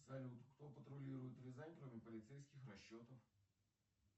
салют кто патрулирует рязань кроме полицейских расчетов